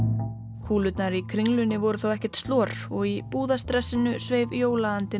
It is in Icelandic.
kúlurnar í Kringlunni voru þó ekkert slor og í sveif